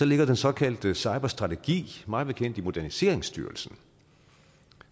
ligger den såkaldte cyberstrategi mig bekendt i moderniseringsstyrelsen